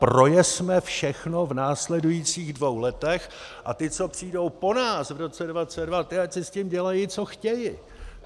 Projezme všechno v následujících dvou letech a ti, co přijdou po nás v roce 2022, ti ať si s tím dělají, co chtějí.